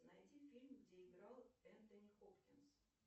найди фильм где играл энтони хопкинс